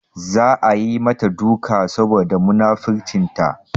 Za a yi mata duka saboda munafurcinta.